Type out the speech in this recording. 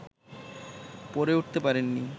পড়ে উঠতে পারেন নি